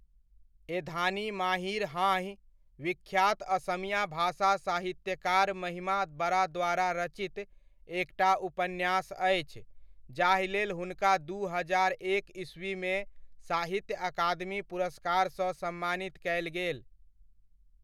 एधानी माहीर हाँहि' विख्यात असमिया भाषा साहित्यकार महिमा बरा द्वारा रचित एकटा उपन्यास अछि जाहि लेल हुनका दू हजार एक ईस्वीमे साहित्य अकादमी पुरस्कार सँ सम्मानित कयल गेल।